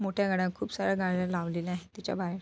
मोठया गाड्या खूप साऱ्या गाड्या लावलेल्या आहेत त्याच्या बाहेर.